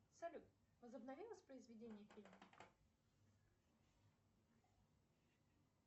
салют возобнови воспроизведение фильма